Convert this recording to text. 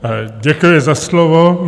Děkuji za slovo.